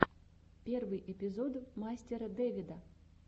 первый эпизод мастера дэвида